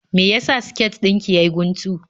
Me ya sa siket din ki ya yi guntu?